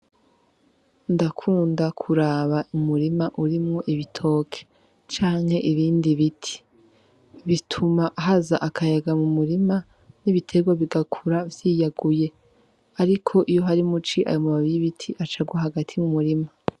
Ndakunda kuraba umurima urimwo ibitoki canke ibindi biti. Bituma haza akayaga mu murima n'ibiterwa bigakura vyiyaguye ariko iyo ari mu ci, ayo mababi y'ibiti aca agwa hagati mu murima.